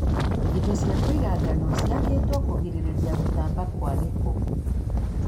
indo cia kũiga ngano ciakĩtwo kũgirĩrĩa gũtamba kwa gĩko.